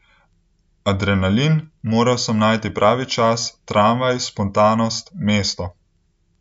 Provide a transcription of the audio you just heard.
Adrenalin, moral sem najti pravi čas, tramvaj, spontanost, mesto ...